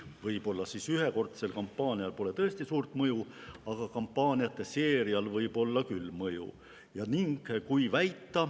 Tõsi, ühekordsel kampaanial pole ehk tõesti suurt mõju, aga kampaaniate seerial võib olla küll mõju.